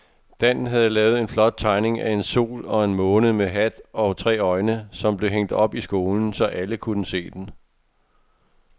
Dan havde lavet en flot tegning af en sol og en måne med hat og tre øjne, som blev hængt op i skolen, så alle kunne se den.